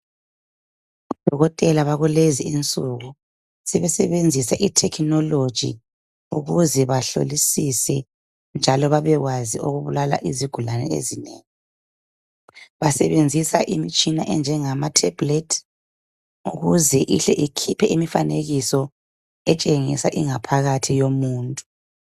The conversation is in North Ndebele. odokotela bakulezi insuku sebesebenzisa i technology ukze behlolisise njalo bebekwazi okubulala izigulane ezinengi basebenzisa imtshina enjengama tablet ukuze ihle ikhiphe imifanekiso etshengisa ingaphakathi yomuntu